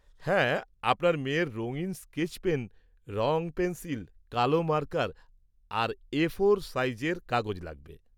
হ্যাঁ, আপনার মেয়ের রঙিন স্কেচ পেন, রং পেন্সিল, কালো মার্কার আর এ ফোর সাইজের কাগজ লাগবে।